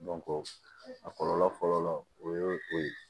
a kɔlɔlɔ fɔlɔ o ye o ye